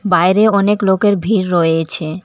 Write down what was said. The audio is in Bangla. বাইরে অনেক লোকের ভিড় রয়েছে।